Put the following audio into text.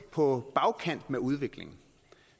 på bagkant med udviklingen